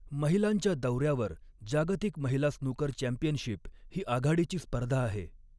महिलांच्या दौऱ्यावर, जागतिक महिला स्नूकर चॅम्पियनशिप ही आघाडीची स्पर्धा आहे.